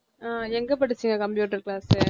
அஹ் எங்க படிச்சீங்க computer class